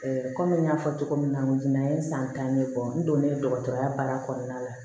kɔmi n y'a fɔ cogo min na jinɛ ye san tan de bɔ n donnen dɔgɔtɔrɔya baara kɔnɔna la